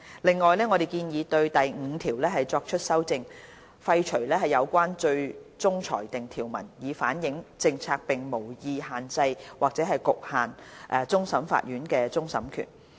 另外，我們建議修訂第5條，廢除相關最終裁定條文，以反映政策並無意限制或局限終審法院的終審權。